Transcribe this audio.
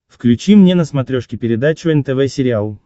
включи мне на смотрешке передачу нтв сериал